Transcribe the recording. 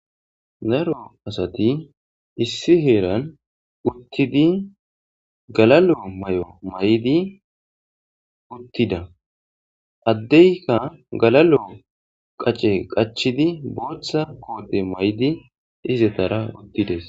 Daro asati issi heeran uttidi galalo may'o may'di uttida addeyka galalo qace qachidi booththa koote may7di izetara uttides.